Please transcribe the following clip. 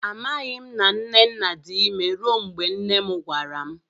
A maghi m na nnenna dị imé rue mgbe nne m gwara m